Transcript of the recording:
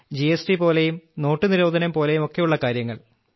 GST പോലെയും നോട്ടു നിരോധനം പോലെയുമൊക്കെയുള്ള കാര്യങ്ങൾ